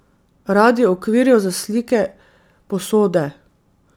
Radiev, okvirjev za slike, posode.